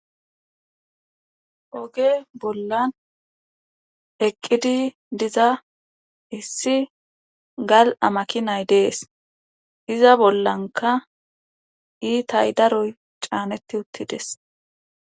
Oge bollan eqqidi diza issi gali'a makinay dees. Iza bollanka iitay daroy caanetti utti des.